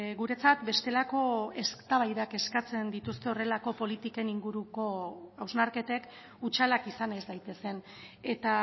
guretzat bestelako eztabaidak eskatzen dituzte horrelako politiken inguruko hausnarketek hutsalak izan ez daitezen eta